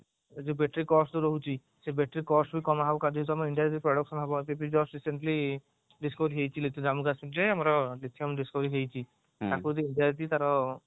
ଏ ଯୋଉ battery cost ରହୁଛି ସେ battery cost ବି କମ କରି ଦଉଛି ଆମେ just simply ଆମର ହେଇଛି ତାର